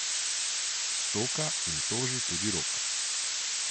Stoka in toži tudi Rok.